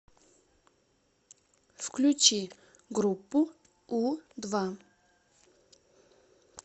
включи группу у два